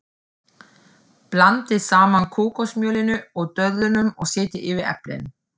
Blandið saman kókosmjölinu og döðlunum og setjið yfir eplin.